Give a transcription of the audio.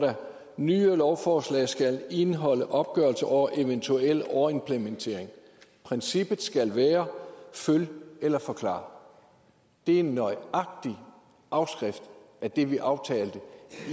nye lovforslag skal indeholde opgørelse over eventuel overimplementering princippet skal være følg eller forklar det er en nøjagtig afskrift af det vi aftalte